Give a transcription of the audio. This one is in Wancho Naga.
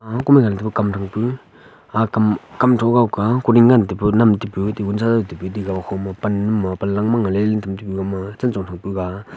ah kom e ngan taipu kam thang pu aga kam kam tho kue ne ngan taipu nam taipu table sa hom pan ma pan lang .]